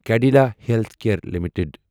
Cadila healthcare limited